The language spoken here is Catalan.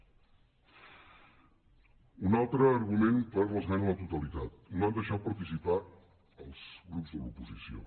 un altre argument per a l’esmena a la totalitat no hi han deixat participar els grups de l’oposició